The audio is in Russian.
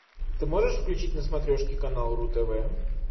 ты можешь включить на смотрешке канал ру тв